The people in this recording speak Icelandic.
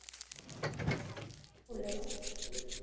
Það á að kalla hana Sólu.